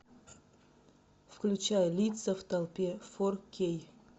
включай лица в толпе фор кей